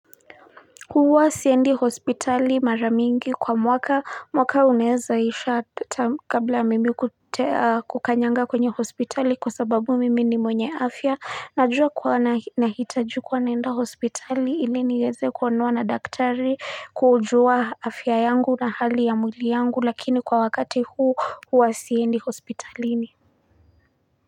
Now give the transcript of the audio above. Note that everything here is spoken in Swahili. Huwa siendi hospitali mara mingi kwa mwaka, mwaka uneeza isha kabla mimi kukanyaga kwenye hospitali, kwa sababu mimi ni mwenye afya. Najua kuwa nahitaji kuwa naenda hospitali ili niweze kuonwa na daktari, kujua afya yangu na hali ya mwili yangu, lakini kwa wakati huu huwa siendi hospitalini.